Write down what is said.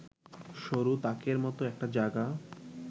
সরু তাকের মত একটা জায়গা